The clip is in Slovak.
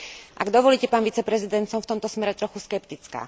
Ak dovolíte pán viceprezident, som v tomto smere trochu skeptická.